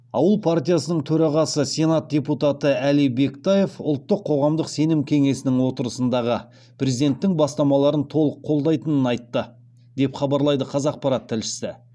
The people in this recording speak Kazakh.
ауыл партиясының төрағасы сенат депутаты әли бектаев ұлттық қоғамдық сенім кеңесінің отырысындағы президенттің бастамаларын толық қолдайтынын айтты деп хабарлайды қазақпарат тілшісі